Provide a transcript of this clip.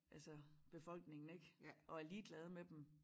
Altså befolkningen ik og er ligeglad med dem